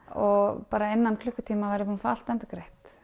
og innan klukkutíma var að fá allt endurgreitt